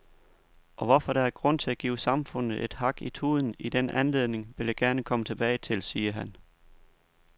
Og hvorfor der er grund til at give samfundet et hak i tuden i den anledning, vil jeg komme tilbage til, siger han.